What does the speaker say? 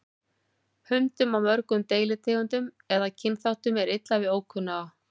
Hundum af mörgum deilitegundum eða kynþáttum er illa við ókunnuga.